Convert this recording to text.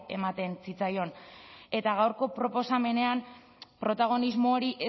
ematen zitzaion eta gaurko proposamenean protagonismo hori